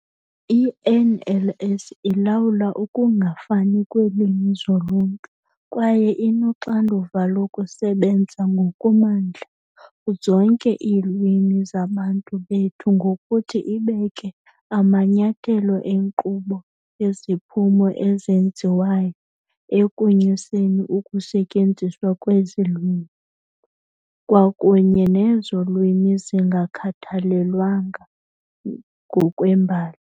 I-NLS ilawula ukungafani kweelwimi zoluntu kwaye inoxanduva lokusebenza ngokumandla zonke iilwimi zabantu bethu ngokuthi ibeke amanyathelo enkqubo yeziphumo ezenziwayo ekunyuseni ukusetyenziswa kwezi lwimi, kwakunye nezo lwimi zingakhathalelwanga ngokwembali.